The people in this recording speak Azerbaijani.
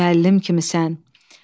gənc bir müəllim kimisən.